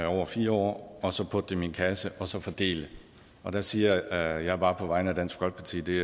over fire år og så putte dem i en kasse og så fordele og der siger jeg bare på vegne af dansk folkeparti at det